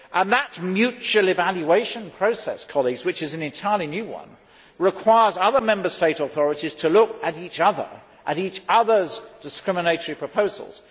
That mutual evaluation process which is an entirely new one requires other Member State authorities to look at each other, at each other's discriminatory proposals.